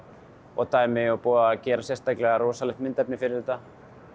og dæmi og búið að gera sérstaklega rosalegt myndefni fyrir þetta